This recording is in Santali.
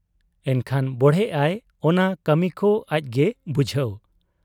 ᱮᱱᱠᱷᱟᱱ ᱵᱚᱲᱦᱮᱜ ᱟᱭ ᱚᱱᱟ ᱠᱟᱹᱢᱤᱠᱚ ᱟᱡᱜᱮ ᱵᱩᱡᱷᱟᱹᱣ ᱾